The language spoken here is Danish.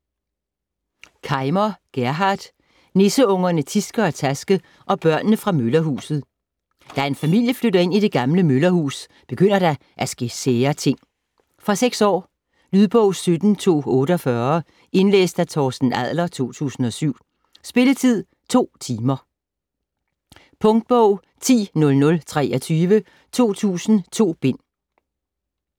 Kaimer, Gerhard: Nisseungerne Tiske og Taske og børnene fra møllerhuset Da en familie flytter ind i det gamle møllerhus, begynder der at ske sære ting. Fra 6 år. Lydbog 17248 Indlæst af Torsten Adler, 2007. Spilletid: 2 timer, 0 minutter. Punktbog 100023 2000.2 bind.